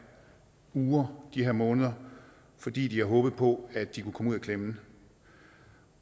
uger de her måneder fordi de har håbet på at de kunne komme ud af klemmen